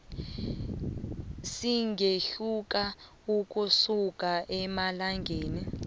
singehluka ukusuka emalangeni